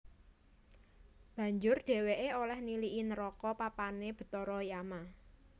Banjur dhèwèké olèh niliki neraka papané bathara Yama